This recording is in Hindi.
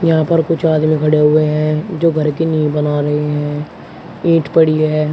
यहां पर कुछ आदमी खड़े हुए हैं जो घर की नींव बना रहे हैं ईंट पड़ी है।